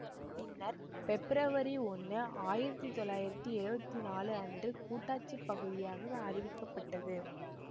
பின்னர் பெப்பிரவரி ஒன்னு ஆயிரத்தி தொள்ளாயிரத்தி எழுவத்தி நாலு அன்று கூட்டாட்சிப் பகுதியாக அறிவிக்கப்பட்டது